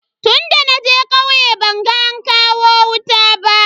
Tunda naje kauye ban ga an kawo wuta ba.